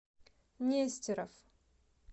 нестеров